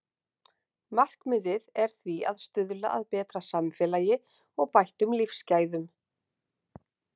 Markmiðið er því að stuðla að betra samfélagi og bættum lífsgæðum.